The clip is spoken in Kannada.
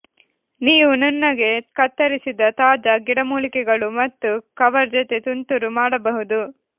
ನೀವು ನುಣ್ಣಗೆ ಕತ್ತರಿಸಿದ ತಾಜಾ ಗಿಡಮೂಲಿಕೆಗಳು ಮತ್ತು ಕವರ್ ಜೊತೆ ತುಂತುರು ಮಾಡಬಹುದು